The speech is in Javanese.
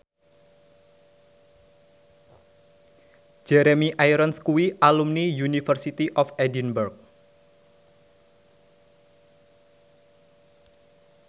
Jeremy Irons kuwi alumni University of Edinburgh